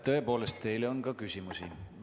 Tõepoolest, teile on ka küsimusi.